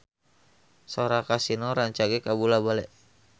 Sora Kasino rancage kabula-bale